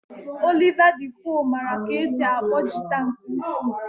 Oliva de koque mara ka esi akpọ jịta nke ukwu.